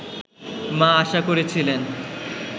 মা আশা করেছিলেন